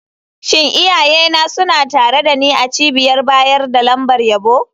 Shin iyayena suna tare da ni a cibiyar bayar da lambar yabo?